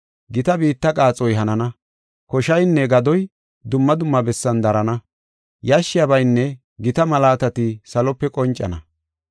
Gita biitta qaaxoy hanana, koshaynne gadoy dumma dumma bessan darana, yashshiyabaynne gita malaatati salope qoncana.